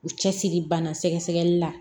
U cɛsiri banna sɛgɛli la